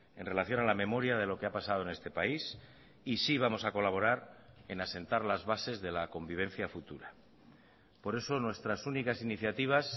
en relación a la memoria de lo que ha pasado en este país y sí vamos a colaborar en asentar las bases de la convivencia futura por eso nuestras únicas iniciativas